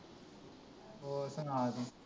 ਹੋਰ ਸੁਣਾ ਤੂੰ।